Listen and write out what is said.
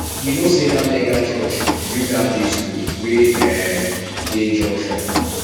you know sey dat mega church build dat big skool wey um dey junction